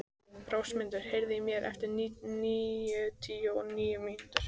Rósmundur, heyrðu í mér eftir níutíu og níu mínútur.